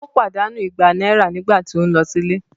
Ó pàdánù ìgbà náírà nígbà tí o ń lọ sílé